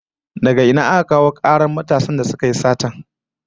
Daga ina aka kawo karar matasan da suka yi satar?